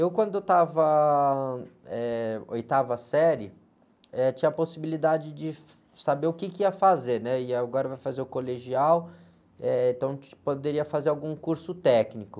Eu quando estava, eh, oitava série, tinha a possibilidade de saber o quê que ia fazer, né? E agora vai fazer o colegial, eh, então poderia fazer algum curso técnico.